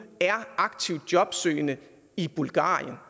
er aktivt jobsøgende i bulgarien jeg